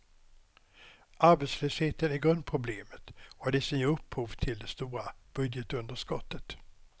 Arbetslösheten är grundproblemet och det som ger upphov till det stora budgetunderskottet.